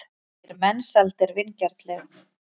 segir Mensalder vingjarnlega.